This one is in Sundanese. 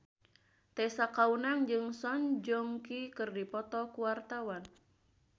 Tessa Kaunang jeung Song Joong Ki keur dipoto ku wartawan